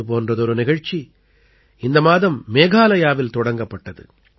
இது போன்றதொரு நிகழ்ச்சி இந்த மாதம் மேகாலயாவில் தொடங்கப்பட்டது